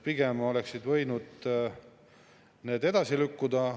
Pigem oleksid need võinud edasi lükkuda.